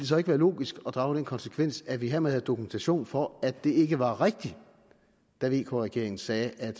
så ikke være logisk at drage den konsekvens at vi hermed havde dokumentation for at det ikke var rigtigt da vk regeringen sagde at